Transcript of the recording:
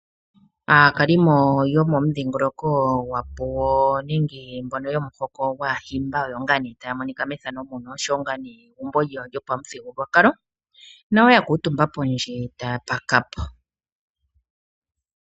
Aakalimo yomomudhingoloko gwapuwo nenge mbono yomuhoko gwAahimba oto ngaa nee taa monika methano muno oshowo ngaa egumbo lyawo lyopamuthigululwakalo nayo ya kuutumba pondje taya paka po.